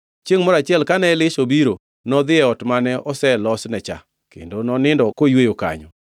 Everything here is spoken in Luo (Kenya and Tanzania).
Chiengʼ moro achiel kane Elisha obiro, nodhi e ot mane oselosne cha, kendo nonindo koyweyo kanyo.